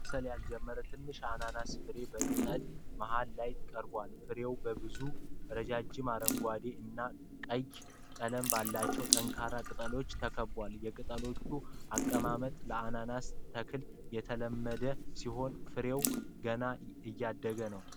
መብሰል ያልጀመረ ትንሽ አናናስ ፍሬ በቅጠሉ መሃል ላይ ቀርበዋል። ፍሬው በብዙ ረጅም አረንጓዴ እና ቀይ ቀለም ባላቸው ጠንካራ ቅጠሎች ተከቧል። የቅጠሎቹ አቀማመጥ ለአናናስ ተክል የተለመደ ሲሆን፣ ፍሬው ገና እያደገ ነው።